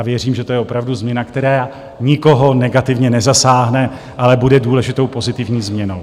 A věřím, že je to opravdu změna, která nikoho negativně nezasáhne, ale bude důležitou pozitivní změnou.